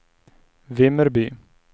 Vimmerby